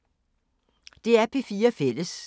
DR P4 Fælles